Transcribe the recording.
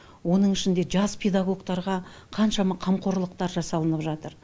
оның ішінде жас педагогтарға қаншама қамқорлықтар жасалынып жатыр